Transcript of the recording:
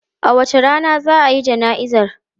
A wace rana za a yi jana'izar?